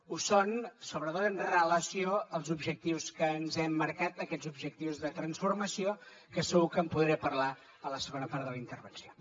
ho són sobretot amb relació als objectius que ens hem marcat aquests objectius de transformació que segur que en podré parlar a la segona part de la intervenció